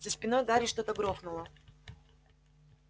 за спиной гарри что-то грохнуло